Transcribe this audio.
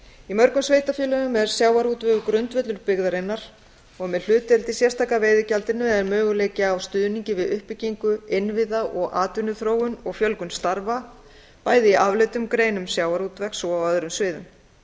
í mörgum sveitarfélögum er sjávarútvegur grundvöllur byggðarinnar og með hlutdeild í sérstaka veiðigjaldinu er möguleiki á stuðningi við uppbyggingu innviða og atvinnuþróun og fjölgun starfa bæði í afleiddum greinum sjávarútvegs og á öðrum sviðum